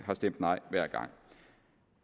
har stemt nej hver gang